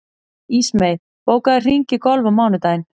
Ísmey, bókaðu hring í golf á mánudaginn.